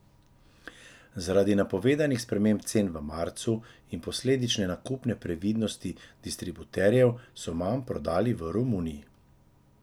Zaradi napovedanih sprememb cen v marcu in posledične nakupne previdnosti distributerjev so manj prodali v Romuniji.